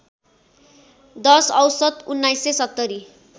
१० औसत १९७०